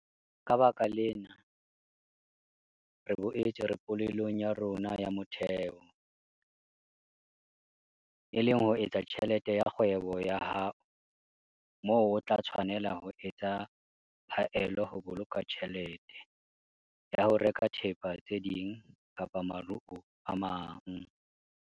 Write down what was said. Ka baka lena, re boetse re polelong ya rona ya motheho, e leng ho etsa tjhelete ka kgwebo ya hao moo o tla tshwanela ho etsa phaello ho boloka tjhelete ya ho reka thepa tse ding kapa maruo a mang.